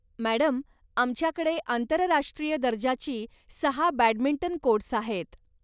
Madam, आमच्याकडे आंतरराष्ट्रीय दर्जाची सहा बॅडमिंटन कोर्ट्स आहेत.